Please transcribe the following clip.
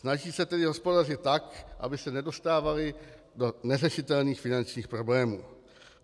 Snaží se tedy hospodařit tak, aby se nedostávaly do neřešitelných finančních problémů.